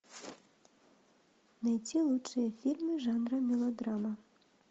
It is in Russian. найти лучшие фильмы жанра мелодрама